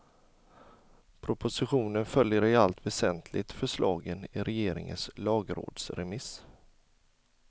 Propositionen följer i allt väsentligt förslagen i regeringens lagrådsremiss.